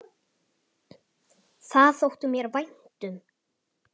Það þótti mér vænt um.